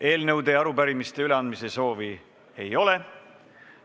Eelnõude ja arupärimiste üleandmise soovi ei ole.